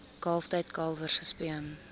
kalftyd kalwers gespeen